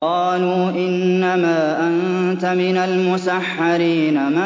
قَالُوا إِنَّمَا أَنتَ مِنَ الْمُسَحَّرِينَ